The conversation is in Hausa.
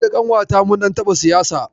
Ni da ƙanwata mun ɗan taɓa siyasa.